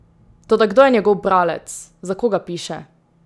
Toda kdo je njegov bralec, za koga piše?